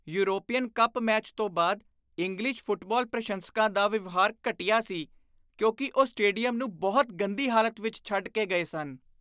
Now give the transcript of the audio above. European cup match ਤੋਂ ਬਾਅਦ English football ਪ੍ਰਸ਼ੰਸਕਾਂ ਦਾ ਵਿਵਹਾਰ ਘਟੀਆ ਸੀ ਕਿਉਂਕਿ ਉਹ ਸਟੇਡੀਅਮ ਨੂੰ ਬਹੁਤ ਗੰਦੀ ਹਾਲਤ ਵਿੱਚ ਛੱਡ ਕੇ ਗਏ ਸਨ।